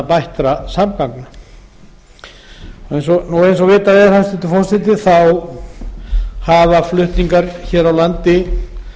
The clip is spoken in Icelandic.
bættra samgangna eins og vitað er hæstvirtur forseti hafa flutningar hér á landi